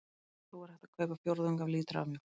Þó er hægt að kaupa fjórðung af lítra af mjólk.